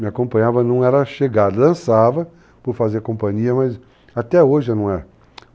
me acompanhava, não era chegar, dançava, por fazer companhia, mas até hoje, não é?